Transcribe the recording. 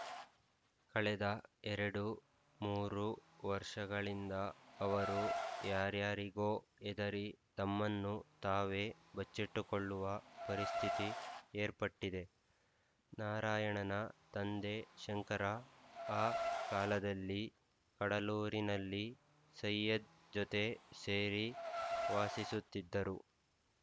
ಕಳೆದ ಎರಡು ಮೂರು ವರ್ಷಗಳಿಂದ ಅವರು ಯಾರ್ಯಾರಿಗೋ ಹೆದರಿ ತಮ್ಮನ್ನು ತಾವೇ ಬಚ್ಚಿಟ್ಟುಕೊಳ್ಳುವ ಪರಿಸ್ಥಿತಿ ಏರ್ಪಟ್ಟಿದೆ ನಾರಾಯಣನ ತಂದೆ ಶಂಕರ ಆ ಕಾಲದಲ್ಲಿ ಕಡಲೂರಿನಲ್ಲಿ ಸೈಯದ್ ಜೊತೆ ಸೇರಿ ವಾಸಿಸುತ್ತಿದ್ದರು